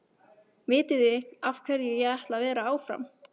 Vitiði af hverju ég ætla að vera áfram?